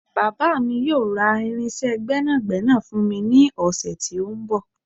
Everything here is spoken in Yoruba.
Bàbá mi yóò ra irinsé gbẹ́nàgbẹ́nà fún mi ní ọ̀sẹ̀ tí ó ń bọ̀